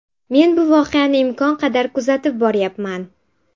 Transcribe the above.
Men bu voqeani imkon qadar kuzatib boryapman.